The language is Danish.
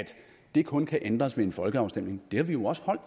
det kun kan ændres ved en folkeafstemning har vi jo også holdt